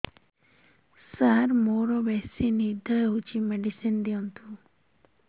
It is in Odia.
ସାର ମୋରୋ ବେସି ନିଦ ହଉଚି ମେଡିସିନ ଦିଅନ୍ତୁ